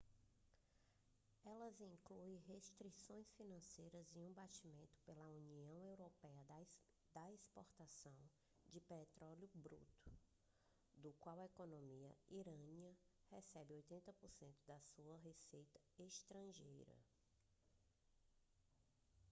elas incluem restrições financeiras e um banimento pela união europeia da exportação de petróleo bruto do qual a economia iraniana recebe 80% da sua receita estrangeira